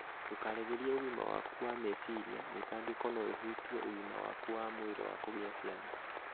Ndũkaregerie ũgima waku wa meciria; mĩtangĩko no ĩhutie ũgima waku wa mwĩrĩ wa kũgĩa ciana.